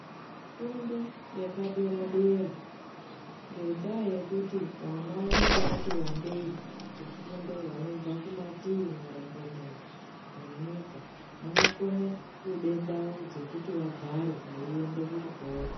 Fundo yepadera-dera ngendaa yekuti vana vanenge vati wandei kufundo vanobva kumatii marongomuna enyika. Vanokone kude ndau dzekuti vagare veiende kuchikora.